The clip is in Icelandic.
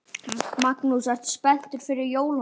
Magnús: Ertu spenntur fyrir jólunum?